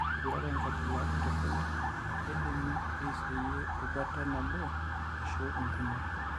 Ore eipirare enkabila entoroni, keidimi aiseyie erubata nabo ashu inkumok.